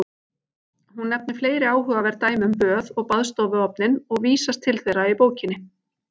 Hún nefnir fleiri áhugaverð dæmi um böð og baðstofuofninn og vísast til þeirra í bókinni.